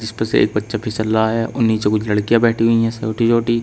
जिसपे से एक बच्चा फिसल रहा है और नीचे कुछ लड़कियां बैठी हुई है छोटी छोटी।